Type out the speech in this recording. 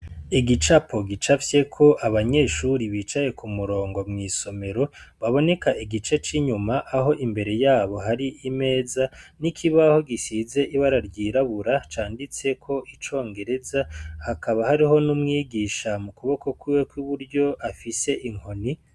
Igicapo gicafyeko abanyeshuri bicaye ku murongo mw'isomero baboneka igice c'inyuma aho imbere yabo hari imeza n'ikibaho gisize ibara ryirabura canditseko icongereza hakaba hariho n'umwigisha mu kuboko kwiwe kw'iburyo afise inkoni.